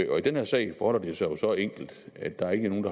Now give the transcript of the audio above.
og i den her sag forholder det sig jo så enkelt at der ikke er nogen